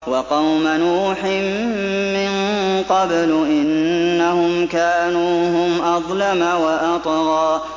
وَقَوْمَ نُوحٍ مِّن قَبْلُ ۖ إِنَّهُمْ كَانُوا هُمْ أَظْلَمَ وَأَطْغَىٰ